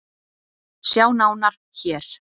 Sjá nánar hér.